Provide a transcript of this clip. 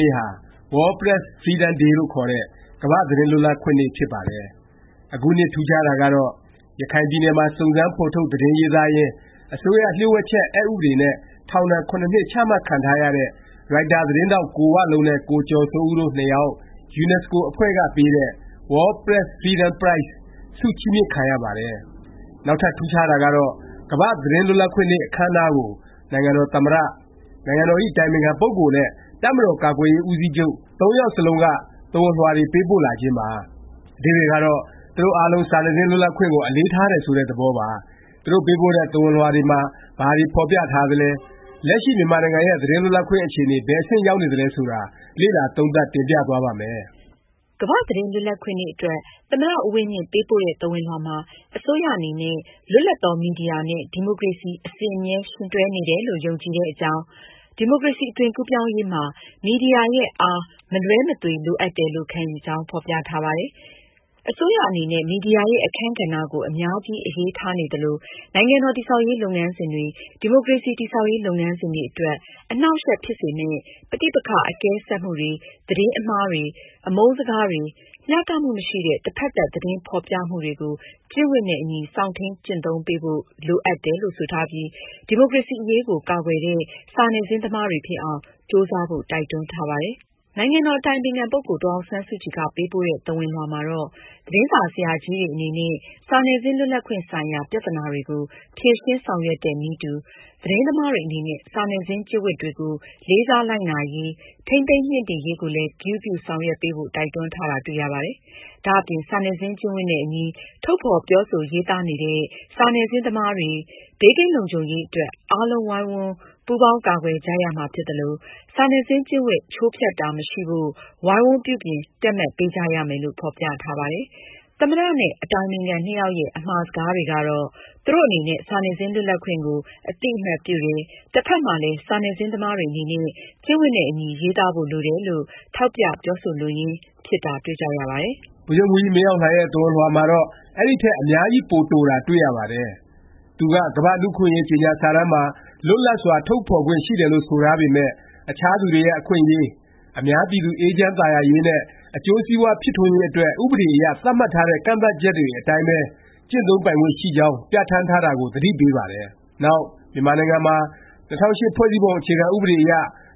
နေ့ဟာ World Press freedom day လို့ခေါ်တဲ့ ကမ္ဘာ့ သတင်းလွတ်လပ်ခွင့်နေ့ ဖြစ်ပါတယ်။ အခုနှစ် ထူးခြားတာကတော့ ရခိုင်ပြည်နယ်မှာ စုံစမ်း ဖော်ထုတ် သတင်းရေးသားရင်း အစိုးရ လျှို့ဝှက်ချက် အက်ဥပဒေ နဲ့ ထောင်ဒဏ် ၇ နှစ် ချမှတ်ခံထားရတဲ့ ရိုက်တာ သတင်းထောက် ကိုဝလုံးနဲ့ ကိုကျော်စိုးဦး တို့နှစ်ယောက် ယူနက်စကိုအဖွဲ့ကပေးတဲ့ World Press Freedom Prize ဆုချီးမြှင့်ခံရပါတယ်။ နောက်ထပ် ထူးခြားတာကတော့ ကမ္ဘာ့သတင်းလွတ်လပ်ခွင့်နေ့ အခန်းအနားကို နိုင်ငံတော်သမ္မတ၊ နိုင်ငံတော်ဇ။် အတိုင်ပင်ခံ ပုဂ္ဂိုလ် နဲ့ တပ်မတော် ကာကွယ်ရေး ဦးစီးချုပ် ၃ ယောက်စလုံးက သဝဏ်လွှာတွေ ပေးပို့လာခြင်းပါ။ အဓိပ္ပါယ်ကတော့ သူတို့ အားလုံး စာနယ်ဇင်း လွတ်လပ်ခွင့်ကို အလေးထားတယ် ဆိုတဲ့ သဘောပါ။ သူတို့ ပေးပို့တဲ့ သဝဏ်လွှာတွေမှာ ဘာတွေ ဖော်ပြထားသလဲ၊ လက်ရှိ မြန်မာနိုင်ငံရဲ့ သတင်းလွတ်လပ်ခွင့် အခြေအနေ ဘယ် အဆင့် ရောက်နေသလဲ ဆိုတာ လေ့လာ သုံးသပ် တင်ပြသွားပါ့မယ်။ ကမ္ဘာ့သတင်းလွတ်လပ်ခွင့် နေ့ အတွက် သမ္မတ ဦးဝင်းမြင့် ပေးပို့တဲ့ သဝဏ်လွှာမှာ အစိုးရ အနေနဲ့ လွတ်လပ်သော မီဒီယာနဲ့ ဒီမိုကရေစီ အစဉ်အမြဲ ယှဉ်တွဲနေတယ်လို့ ယုံကြည်တဲ့အကြောင်း၊ ဒီမိုကရေစီ အသွင်ကူးပြောင်းရေးမှာ မီဒီယာရဲ့ “ အား” မလွဲမသွေ လိုအပ်တယ်လို့ ခံယူကြောင်း ဖော်ပြထားပါတယ်။ အစိုးရ အနေနဲ့ မီဒီယာရဲ့ အခန်းကဏ္ဍကို အများကြီး အရေးထားနေသလို နိုင်ငံတော် တည်ဆောက်ရေး လုပ်ငန်းစဉ်တွေ၊ ဒီမိုကရေစီ တည်ဆောက်ရေး လုပ်ငန်းစဉ်တွေအတွက် အနှောင့်အယှက်ဖြစ်စေမယ့် ပဋိပက္ခ အကဲဆတ်မှုတွေ၊ သတင်းမှားတွေ၊ အမုန်းစကားတွေ၊ မျှတမှုမရှိတဲ့ တစ်ဖက်သတ် သတင်းဖော်ပြမှုတွေကို ကျင့်ဝတ်နဲ့အညီ စောင့်ထိန်း ကျင့်သုံးပေးဖို့ လိုအပ်တယ်လို့ ဆိုထားပြီး ဒီမိုကရေစီ အရေးကို ကာကွယ်တဲ့ စာနယ်ဇင်း သမားတွေဖြစ်အောင် ကြိုးစားဖို့ တိုက်တွန်းထားပါတယ်။ နိုင်ငံတော်ဇ။် အတိုင်ပင်ခံ ပုဂ္ဂိုလ် ဒေါ်အောင်ဆန်းစုကြည်က ပေးပို့တဲ့ သဝဏ်လွှာမှာတော့ သတင်းစာ ဆရာကြီးတွေ အနေနဲ့ စာနယ်ဇင်း လွတ်လပ်ခွင့်ဆိုင်ရာ ပြသနာတွေကို ဖြေရှင်း ဆောင်ရွက်တဲ့နည်းတူ သတင်းသမားတွေ အနေနဲ့ စာနယ်ဇင်း ကျင့်ဝတ်တွေကို လေးစား လိုက်နာရေး၊ ထိန်းသိမ်းမြှင့်တင်ရေးကိုလည်း ဂရုပြု ဆောင်ရွက်ပေးဖို့ တိုက်တွန်းထားတာ တွေ့ရပါတယ်။ ဒါ့အပြင် စာနယ်ဇင်း ကျင့်ဝတ်နဲ့အညီ ထုတ်ဖော် ပြောဆို ရေးသားနေတဲ့ စာနယ်ဇင်းသမားတွေ ဘေးကင်းလုံခြုံရေး အတွက် အားလုံး ဝိုင်းဝန်း ပူးပေါင်း ကာကွယ်ကြရမှာ ဖြစ်သလို၊ စာနယ်ဇင်း ကျင့်ဝတ် ချိုးဖျက်တာ မရှိဖို့ ဝိုင်းဝန်း ပြုပြင် တည့်မတ်ပေးကြရမယ်လို့ ဖော်ပြထားပါတယ်။ သမ္မတ နဲ့ အတိုင်ပင်ခံ နှစ်ယောက်ရဲ့ အမှာစကားကတော့ သူတို့ အနေနဲ့ စာနယ်ဇင်း လွတ်လပ်ခွင့်ကို အသိအမှတ်ပြုတယ်၊ တဖက်မှာလည်း စာနယ်ဇင်း သမားတွေ အနေနဲ့ ကျင့်ဝတ်နဲ့အညီ ရေးသားဖို့ လိုတယ်လို့ ထောက်ပြ ပြောဆိုလိုရင်း ဖြစ်တာ တွေ့ကြရပါတယ်။ ဗိုလ်ချုပ်မှူးကြီး မင်းအောင်လှိုင်ရဲ့ သဝဏ်လွှာကတော့ အဲဒီထက် အများကြီး ပို တိုတာ တွေ့ရပါတယ်။ သူက ကမ္ဘာ့ လူ့အခွင့်အရေး ကြေငြာစာတမ်းမှာ လွတ်လပ်စွာ ထုတ်ဖော်ခွင့် ရှိတယ်လို့ ဆိုထားပေမယ့် အခြားသူတွေရဲ့ အခွင့်အရေး၊ အများပြည်သူ အေးချမ်းသာယာရေးနဲ့ အကျိုးစီးပွား ဖြစ်ထွန်းရေး အတွက် ဥပဒေအရ သတ်မှတ်ထားတဲ့ ကန့်သတ်ချက်တွေ အတိုင်းပဲ ကျင့်သုံးပိုင်ခွင့် ရှိကြောင်း ပြဌာန်းထားတာကို သတိပေးပါတယ်။ နောက် မြန်မာနိုင်ငံမှာ ၂၀၀၈ ဖွဲ့စည်းပုံ အခြေခံ ဥပဒေအရ